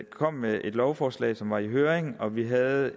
kom med et lovforslag som blev sendt i høring og vi havde